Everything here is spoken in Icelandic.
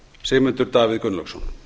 sigmundur davíð gunnlaugsson